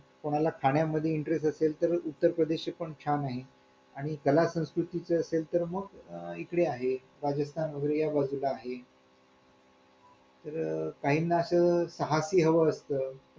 Loan pass झालं की लगेच दुसऱ्या महिन्यात हापत्ता चालू होईल ना आपल्याला ् हजार रुपये .